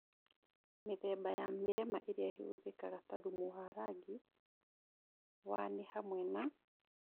Mĩthemba ya mĩrema ĩrĩa ĩhũthĩkaga ta thumu ya rangi wa nĩ hamwe na